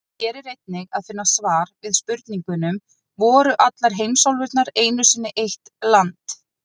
Hér er einnig að finna svar við spurningunum: Voru allar heimsálfurnar einu sinni eitt land?